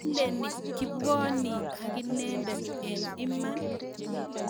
Kiileni kibwoni akinendet eng' iman?